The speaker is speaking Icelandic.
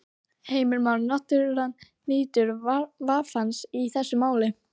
Heimir Már: Náttúran nýtur vafans í þessu máli?